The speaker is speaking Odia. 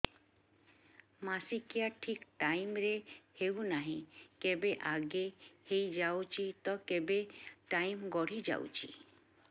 ମାସିକିଆ ଠିକ ଟାଇମ ରେ ହେଉନାହଁ କେବେ ଆଗେ ହେଇଯାଉଛି ତ କେବେ ଟାଇମ ଗଡି ଯାଉଛି